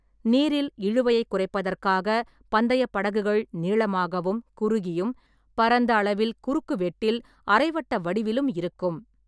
நீரில் இழுவையைக் குறைப்பதற்காக பந்தயப் படகுகள் நீளமாகவும், குறுகியும், பரந்த அளவில் குறுக்குவெட்டில் அரை வட்ட வடிவிலும் இருக்கும்.